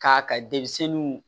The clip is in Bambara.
K'a ka denmisɛnninw